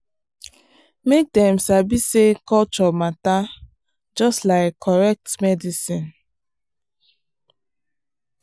make dem sabi say culture matter just like correct medicine.